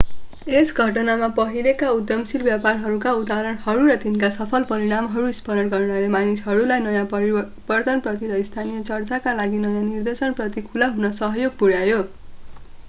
यस घटनामा पहिलेका उद्यमशील व्यवहारका उदाहरणहरू र तिनका सफल परिणामहरू स्मरण गर्नाले मानिसहरूलाई नयाँ परिवर्तनप्रति र स्थानीय चर्चका लागि नयाँ निर्देशन प्रति खुला हुन सहयोग पुर्‍यायो।